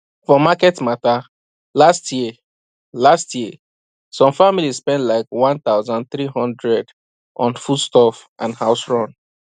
for market matter last year last year some family spend like 1300 on foodstuff and house run